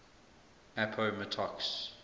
appomattox